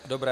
Dobře.